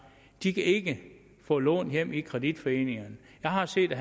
ikke kan få lån hjem i kreditforeningerne jeg har set